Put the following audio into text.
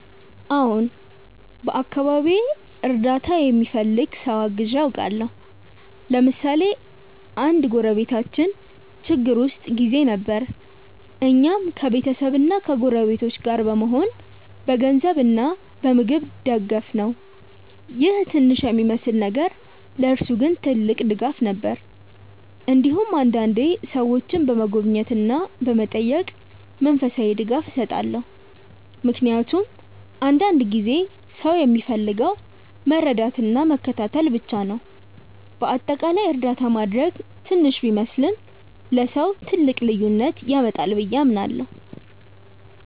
አዎን፣ በአካባቢዬ እርዳታ የሚፈልግ ሰው አግዤ አውቃለሁ። ለምሳሌ አንድ ጎረቤታችን ችግር ውስጥ ጊዜ ነበር፣ እኛም ከቤተሰብና ከጎረቤቶች ጋር በመሆን በገንዘብ እና በምግብ ደገፍነው ይህ ትንሽ የሚመስል ነገር ለእርሱ ግን ትልቅ ድጋፍ ነበር። እንዲሁም አንዳንዴ ሰዎችን በመጎብኘት እና በመጠየቅ መንፈሳዊ ድጋፍ እሰጣለሁ፣ ምክንያቱም አንዳንድ ጊዜ ሰው የሚፈልገው መረዳትና መከታተል ብቻ ነው። በአጠቃላይ እርዳታ ማድረግ ትንሽ ቢመስልም ለሰው ትልቅ ልዩነት ያመጣል ብዬ አምናለሁ።